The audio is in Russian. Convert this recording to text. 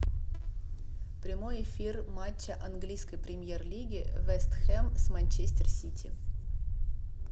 прямой эфир матча английской премьер лиги вест хэм с манчестер сити